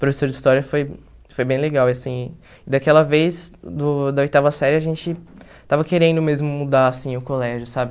Professor de História foi foi bem legal, e assim, daquela vez, do da oitava série, a gente estava querendo mesmo mudar, assim, o colégio, sabe?